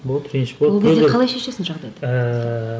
болады реніш болады ол кезде қалай шешесің жағдайды ыыы